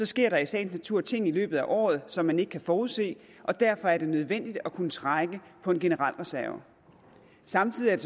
sker der i sagens natur ting i løbet af året som man ikke kan forudse og derfor er det nødvendigt at kunne trække på en generel reserve samtidig er